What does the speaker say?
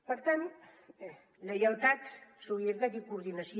per tant lleialtat solidaritat i coordinació